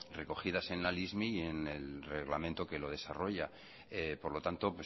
recogidas en la lismi y en el reglamento que lo desarrolla por lo tanto